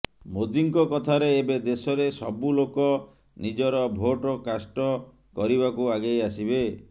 ମୋଦିଙ୍କ କଥାରେ ଏବେ ଦେଶରେ ସବୁ ଲୋକ ନିଜର ଭୋଟ କାଷ୍ଟ କରିବାକୁ ଆଗେଇ ଆସିବେ